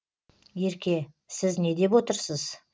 ерке сіз не деп отырсыз